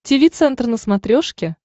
тиви центр на смотрешке